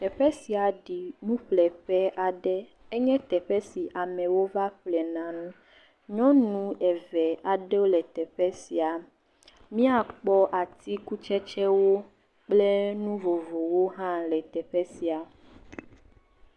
Teƒe sia ɖi nuƒleƒe aɖe enye teƒe sia amewo va ƒlena nu, nyɔnu eve aɖewo le teƒe sia miakpɔ atikutsetsewo kple nu vovovowo le teƒe sia.